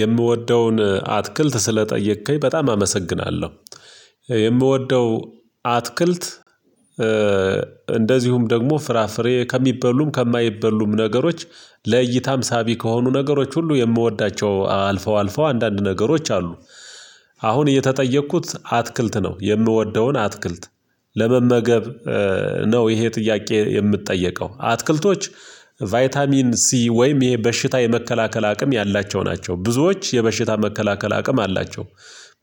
የምወደውን አትክልት ስለጠየከኝ በጣም አመሰግናለሁ። የምወደው አትክልት እንደዚሁም ደግሞ ፍራፍሬ ከሚበሉም ከማይበሉም ነገሮች፤ ለእይታም ሳቢ ከሆኑ ነገሮች ሁሉ የምወዳቸው አልፈው አልፈው አንዳንድ ነገሮች አሉ። አሁን እየተጠየቅኩት አትክልት ነው። የምወደውን አትክልት። ለመመገብ ነው ይሄ ጥያቄ የምጠየቀው። አትክልቶች ቫይታሚን ሲ ወይም ይሄ በሽታ የመከላከል አቅም ያላቸው ናቸው። ብዙዎች የበሽታ መከላከል አቅም አላቸው።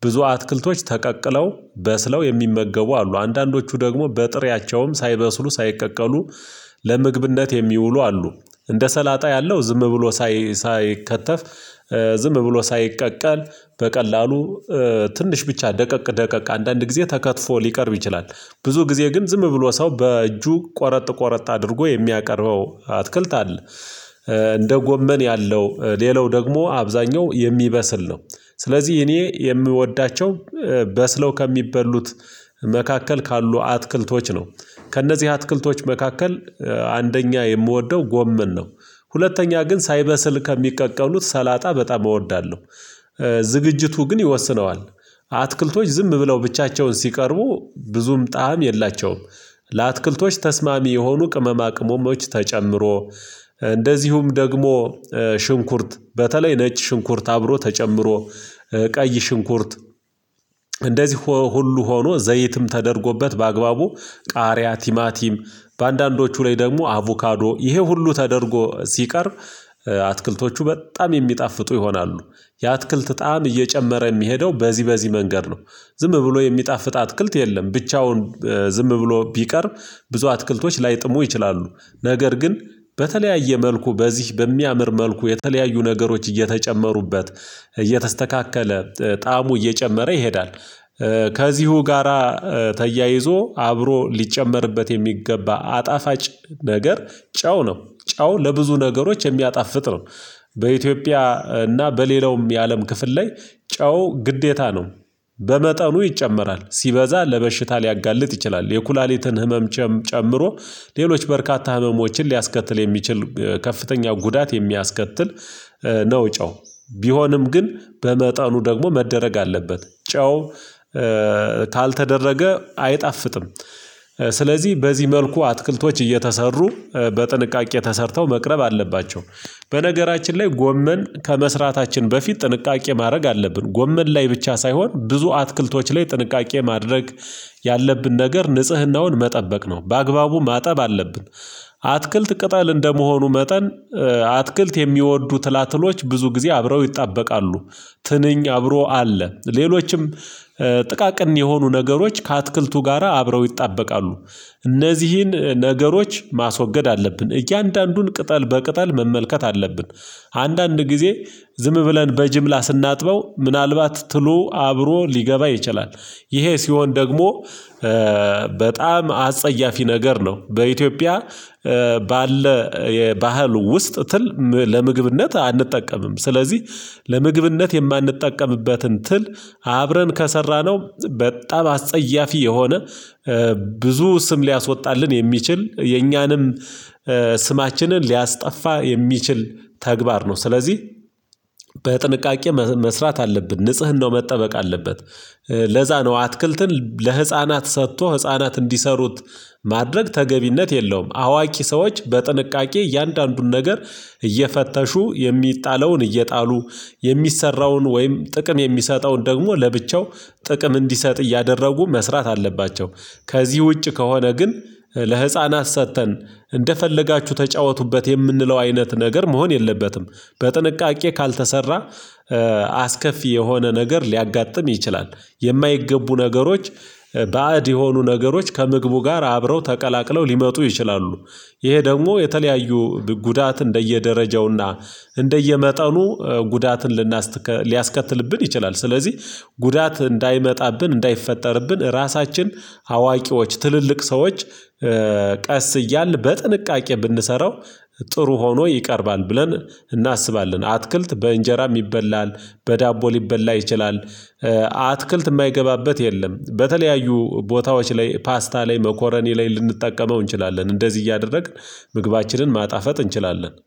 ብዙ አትክልቶች ተቀቅለው በስለው የሚመገቡ አሉ። አንዳንዶቹ ደግሞ በጥሬያቸውም ሳይበስሉ፣ ሳይቀቀሉ ለምግብነት የሚውሉ አሉ። እንደ ሰላጣ ያለው ዝም ብሎ ሳይከተፍ ዝም ብሎ ሳይቀቀል በቀላሉ ትንሽ ብቻ ደቀቅ ደቀቅ አንዳንድ ጊዜ ተከትፎ ሊቀርብ ይችላል። ብዙ ጊዜ ግን ዝም ብሎ ሰው በእጁ ቆረጥ ቆረጥ አድርጎ የሚያቀርበው አትክልት አለ። እንደ ጎመን ያለው ሌላው ደግሞ አብዛኛው የሚበስል ነው። ስለዚህ እኔ የምወዳቸው በስለው ከሚበሉት መካከል ካሉ አትክልቶች ነው። ከእነዚህ አትክልቶች መካከል አንደኛ የምወደው ጎመን ነው። ሁለተኛ ግን ሳይበስል ከሚቀቀሉት ሰላጣ በጣም እወዳለሁ። ዝግጅቱ ግን ይወስነዋል። አትክልቶች ዝም ብለው ብቻቸውን ሲቀርቡ ብዙም ጣዕም የላቸውም። ለአትክልቶች ተስማሚ የሆኑ ቅመማ ቅመሞች ተጨምሮ፤ እንደዚሁም ደግሞ ሽንኩርት በተለይ ነጭ ሽንኩርት አብሮ ተጨምሮ፤ ቀይ ሽንኩርት እንደዚህ ሁሉ ሆኖ ዘይትም ተደርጎበት በአግባቡ ቃሪያ፣ ቲማቲም በአንዳንዶቹ ላይ ደግሞ አቮካዶ፤ ይሄ ሁሉ ተደርጎ ሲቀርብ አትክልቶቹ በጣም የሚጣፍጡ ይሆናሉ። የአትክልት ጣዕም እየጨመረ የሚሄደው በዚህ በዚህ መንገድ ነው። ዝም ብሎ የሚጣፍጥ አትክልት የለም። ብቻውን ዝም ብሎ ቢቀርብ ብዙ አትክልቶች ላይጥሙ ይችላሉ። ነገር ግን በተለያየ መልኩ በዚህ በሚያምር መልኩ የተለያዩ ነገሮች እየተጨመሩበት፣ እየተስተካከለ ጣዕሙ እየጨመረ ይሄዳል። ከዚሁ ጋራ ተያይዞ አብሮ ሊጨመርበት የሚገባ አጣፋጭ ነገር ጨው ነው። ጨው ለብዙ ነገሮች የሚያጣፍጥ ነው። በኢትዮጵያ እና በሌላውም የአለም ክፍል ላይ ጨው ግዴታ ነው። በመጠኑ ይጨመራል። ሲበዛ ለበሽታ ሊያጋልጥ ይችላል። የኩላሊትን ህመም ጨምሮ ሌሎች በርካታ ህመሞችን ሊያስከትል የሚችል ከፍተኛ ጉዳት የሚያስከትል ነው ጨው። ቢሆንም ግን በመጠኑ ደግሞ መደረግ አለበት። ጨው ካልተደረገ አይጣፍጥም። ስለዚህ በዚህ መልኩ አትክልቶች እየተሰሩ በጥንቃቄ ተሰርተው መቅረብ አለባቸው። በነገራችን ላይ ጎመን ከመስራታችን በፊት ጥንቃቄ ማድረግ አለብን። ጎመን ላይ ብቻ ሳይሆን ብዙ አትክልቶች ላይ ጥንቃቄ ማድረግ ያለብን ነገር ንጽህናውን መጠበቅ ነው። በአግባቡ ማጠብ አለብን። አትክልት ቅጠል እንደመሆኑ መጠን አትክልት የሚወዱ ትላትሎች ብዙ ጊዜ አብረው ይጣበቃሉ። ትንኝ አብሮ አለ። ሌሎችም ጥቃቅን የሆኑ ነገሮች ከአትክልቱ ጋራ አብረው ይጣበቃሉ። እነዚህን ነገሮች ማስወገድ አለብን። እያንዳንዱን ቅጠል በቅጠል መመልከት አለብን። አንዳንድ ጊዜ ዝም ብለን በጅምላ ስናጥበው ምናልባት ትሉ አብሮ ሊገባ ይችላል። ይሄ ሲሆን ደግሞ በጣም አጸያፊ ነገር ነው። በኢትዮጵያ ባለ የባህል ውስጥ ትል ለምግብነት አንጠቀምም። ስለዚህ ለምግብነት የማንጠቀምበትን ትል አብረን ከሰራነው በጣም አስጸያፊ የሆነ ብዙ ስም ሊያስወጣልን የሚችል የኛንም ስማችንን ሊያስጠፋ የሚችል ተግባር ነው። ስለዚህ በጥንቃቄ መስራት አለብን። ንጽህናው መጠበቅ አለበት። ለዛ ነው አትክልትን ለህፃናት ሰጥቶ ህፃናት እንዲሰሩት ማድረግ ተገቢነት የለውም። አዋቂ ሰዎች በጥንቃቄ እያንዳንዱን ነገር እየፈተሹ፤ የሚጣለውን እየጣሉ፤ የሚሰራውን ወይም ጥቅም የሚሰጠውን ደግሞ ለብቻው ጥቅም እንዲሰጥ እያደረጉ መስራት አለባቸው። ከዚህ ውጭ ከሆነ ግን ለህፃናት ሰጥተን እንደፈለጋችሁ ተጫወቱበት የምንለው አይነት ነገር መሆን የለበትም። በጥንቃቄ ካልተሰራ አስከፊ የሆነ ነገር ሊያጋጥም ይችላል። የማይገቡ ነገሮች ባዕድ የሆኑ ነገሮች ከምግቡ ጋር አብረው ተቀላቅለው ሊመጡ ይችላሉ። ይሄ ደግሞ የተለያዩ ጉዳት እንደየደረጃውና እንደየመጠኑ ጉዳትን ሊያስከትልብን ይችላል። ስለዚህ ጉዳት እንዳይመጣብን እንዳይፈጠርብን ራሳችን አዋቂዎች ትልልቅ ሰዎች ቀስ እያልን በጥንቃቄ ብንሰራው ጥሩ ሆኖ ይቀርባል ብለን እናስባለን። አትክልት በእንጀራም ይበላል በዳቦ ሊበላ ይችላል አትክልት የማይገባበት የለም። በተለያዩ ቦታዎች ላይ ፓስታ ላይ መኮረኒ ላይ ልንጠቀመው እንችላለን። እንደዚህ እያደረግን ምግባችንን ማጣፈጥ እንችላለን።